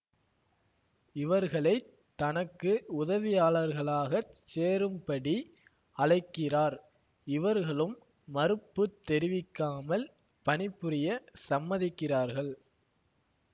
இவர்களை தனக்கு உதவியாளர்களாகச் சேரும்படி அழைக்கிறார் இவர்களும் மறுப்பு தெரிவிக்காமல் பணிபுரிய சம்மதிக்கிறார்கள்